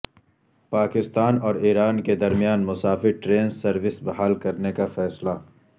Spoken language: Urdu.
پاکستان اور ایران کے درمیان مسافر ٹرین سروس بحال کرنے کا فیصلہ